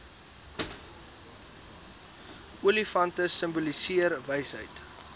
olifante simboliseer wysheid